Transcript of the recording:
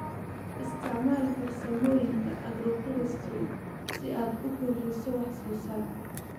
Isticmaal farsamooyinka agroforestry si aad u kordhiso wax soo saarka.